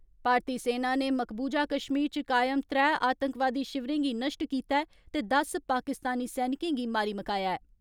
भारतीय सेना नै मकबूजा कश्मीर च कायम त्रै आतंकवादी शिविरें गी नष्ट कीता ऐ ते दस पाकिस्तानी सैनिकें गी मारी मकाया ऐ।